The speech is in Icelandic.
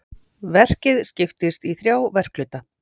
Verkið skiptist í þrjá verkhluta